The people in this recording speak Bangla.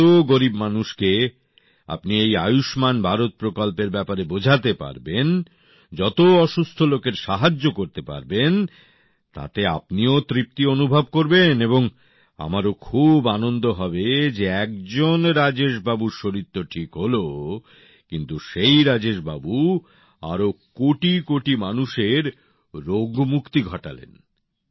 যত গরীব মানুষকে আপনি এই আয়ুষ্মান ভারত প্রকল্পের ব্যাপারে বোঝাতে পারবেন যত অসুস্থ লোকের সাহায্য করতে পারবেন তাতে আপনিও তৃপ্তি অনুভব করবেন এবং আমারও খুব আনন্দ হবে যে একজন রাজেশবাবুর শরীর তো ঠিক হল কিন্তু সেই রাজেশবাবু আরও কোটিকোটি মানুষের রোগমুক্তি ঘটালেন